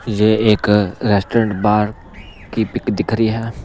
ये एक restaurant bar की पिक दिख रही है।